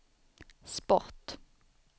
sport